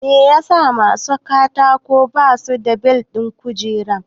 Me yasa masu hawan katako ba su da bel ɗin kujera?